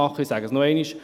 Ich sage es noch einmal: